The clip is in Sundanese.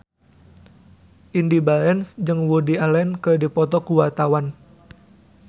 Indy Barens jeung Woody Allen keur dipoto ku wartawan